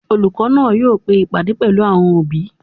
Olùkọ́ náà yóò pe ìpàdé pẹ̀lú àwọn òbí